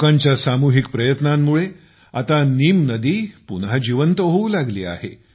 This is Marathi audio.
लोकांच्या सामूहिक प्रयत्नांमुळे आता नीम नदी पुन्हा जिवंत होऊ लागली आहे